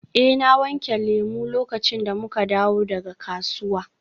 Eh na wanke lemu lokacin da muka dawo daga kasuwa.